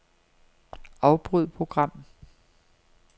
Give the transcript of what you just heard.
Afbryd program.